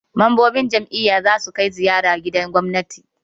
Mambobin jam'iyya za su kai ziyara gidan gwamnati.